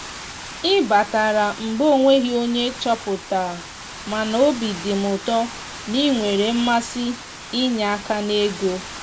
ị batara mgbe onweghi onye choputaramana obi dim ụtọ na ị nwere mmasi inye aka n'ego.